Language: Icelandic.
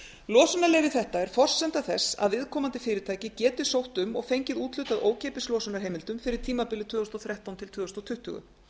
losunarleyfi þetta er forsenda þess að viðkomandi fyrirtæki geti sótt um og fengið úthlutað ókeypis losunarheimildum fyrir tímabilið tvö þúsund og þrettán til tvö þúsund tuttugu